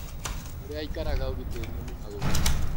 Kũria aĩkaraga ũgitĩrĩ nĩ mũhagũku